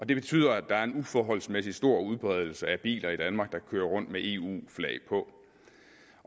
det betyder at der er en uforholdsmæssig stor udbredelse af biler i danmark der kører rundt med eu flag på